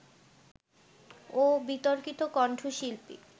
ও বিতর্কিত কণ্ঠশিল্পী